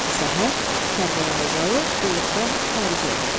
Səhər Kərbəlayi Zalı qulluqdan xaric elədilər.